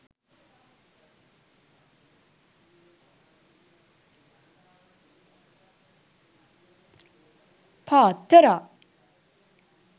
paththara